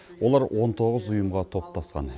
олар он тоғыз ұйымға топтасқан